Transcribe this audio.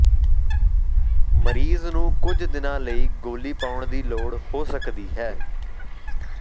ਮਰੀਜ਼ ਨੂੰ ਕੁਝ ਦਿਨਾਂ ਲਈ ਗੋੱਲੀ ਪਾਉਣ ਦੀ ਲੋੜ ਹੋ ਸਕਦੀ ਹੈ